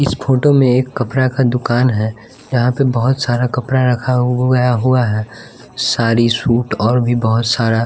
इस फोटो में एक कपड़ा का दुकान है जहां पे बहोत सारा कपड़ा रखा हुआ है साड़ी सूट और भी बहुत सारा--